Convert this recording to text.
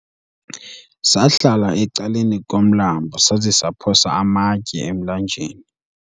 sahlala ecaleni komlambo saza saphosa amatye emlanjeni